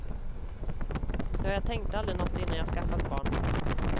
Ja, jag tänkte aldrig något innan jag skaffade barn.